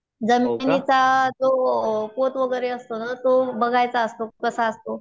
जमिनीचा जो पोत वगैरे असतो ना तो बघायचा असतो कसा असतो